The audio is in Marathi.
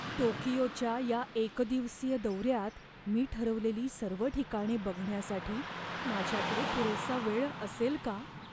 टोकियोच्या या एकदिवसीय दौऱ्यात मी ठरवलेली सर्व ठिकाणे बघण्यासाठी माझ्याकडे पुरेसा वेळ असेल का?